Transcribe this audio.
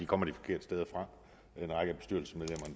kommer de forkerte steder fra